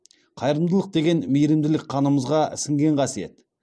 қайырымдылық деген мейірімділік қанымызға сіңген қасиет